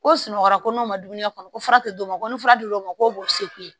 Ko sunɔgɔra ko n'o ma dumuni kɛ kɔni ko fura te d'o ma ko ni fura dir'o ma ko sekoyi